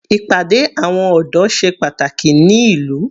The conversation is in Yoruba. Ìpàdé àwọn ọ̀dọ́ ṣe pàtàkì ní ìlú.